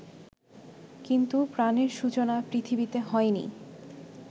কিন্তু প্রাণের সূচনা পৃথিবীতে হয়নি